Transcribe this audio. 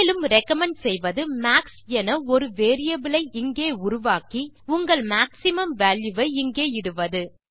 மேலும் ரிகமெண்ட் செய்வது மாக்ஸ் என ஒரு வேரியபிள் ஐ இங்கே உருவாக்கி உங்கள் மேக்ஸிமம் வால்யூ வை இங்கே இடுவது